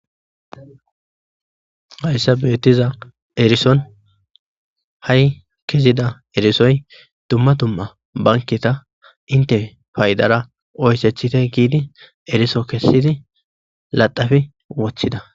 hayssa beettiza erison ha7i kezida erisoy dumma dumma banketa inte faydara oyssechite giidi eriso kessidi laxafi wothida